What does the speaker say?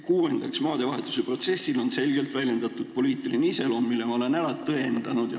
Kuuendaks: maadevahetuse protsessil oli selgelt väljendunud poliitiline iseloom, mille ma olen ära tõendanud.